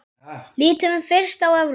Lítum fyrst á Evrópu.